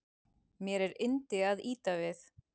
Mér er yndi að ýta við